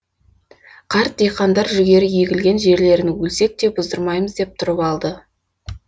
қарт диқандар жүгері егілген жерлерін өлсек те бұздырмаймыз деп тұрып алды